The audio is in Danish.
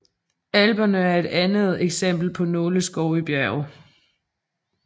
Alperne er et andet eksempel på nåleskov i bjerge